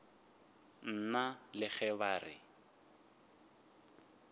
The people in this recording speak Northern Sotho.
nna le ge ba re